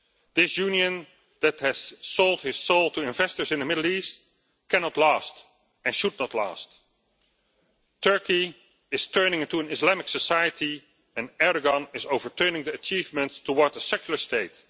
This union that has sold his soul to investors in the Middle East cannot last and should not last. Turkey is turning into an Islamic society and Erdogan is overturning the achievements towards a secular state.